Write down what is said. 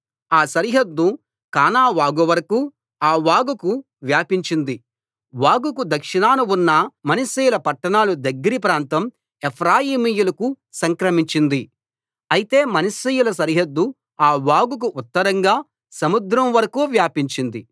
ఆ సరిహద్దు కానా వాగు వరకూ ఆ వాగుకు వ్యాపించింది వాగుకు దక్షిణాన ఉన్న మనష్షీయుల పట్టణాలు దగ్గరి ప్రాంతం ఎఫ్రాయిమీయులకు సంక్రమించింది అయితే మనష్షీయుల సరిహద్దు ఆ వాగుకు ఉత్తరంగా సముద్రం వరకూ వ్యాపించింది